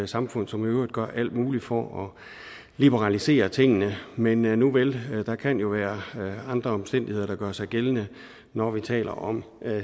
samfund som i øvrigt gør alt muligt for at liberalisere tingene men nuvel der kan jo være andre omstændigheder der gør sig gældende når vi taler om